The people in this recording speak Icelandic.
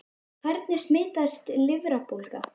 Hvernig smitast lifrarbólga?